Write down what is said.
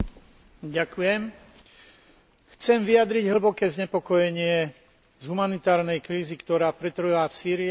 Chcem vyjadriť hlboké znepokojenie z humanitárnej krízy, ktorá pretrváva v Sýrii a rozširuje sa do celého regiónu.